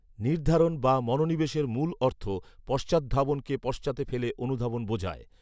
নির্ধারণ বা মনোনিবেশের মূল অর্থ পশ্চাৎধাবনকে পশ্চাতে ফেলে অনুধাবন বোঝায়